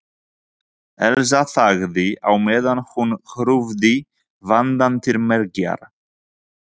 Elsa þagði á meðan hún krufði vandann til mergjar.